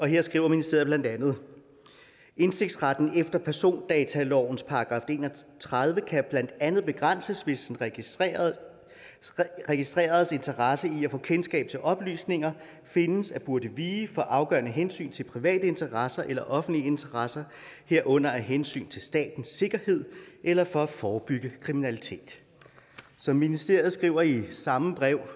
her skriver ministeriet blandt andet indsigtsretten efter persondatalovens § en og tredive kan blandt andet begrænses hvis en registrerets registrerets interesse i at få kendskab til oplysninger findes at burde vige for afgørende hensyn til private interesser eller offentlige interesser herunder af hensyn til statens sikkerhed eller for at forebygge kriminalitet som ministeriet skriver i samme brev